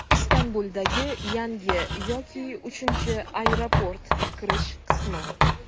Istanbuldagi yangi yoki uchinchi aeroport kirish qismi.